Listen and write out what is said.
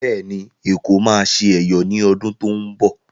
Bẹ́ẹ̀ ni, Èkó máa ṣe Ẹ̀yọ̀ ní Ọdún tó ń bọ̀.